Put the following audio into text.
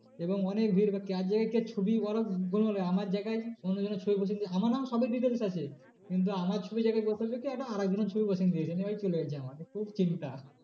এবং অনেক ভিড় এবার কার জায়গায় কার ছবি ওরা গোলমাল আমার জায়গায় অন্যজনের ছবি বসিয়ে দিয়েছে আমার নাম সবই details আছে। কিন্তু আমার ছবির জায়গায় একটা আর একজনের ছবি বসিয়ে দিয়েছে নিয়ে ভাই চলে এসছে আমার খুব চিন্তা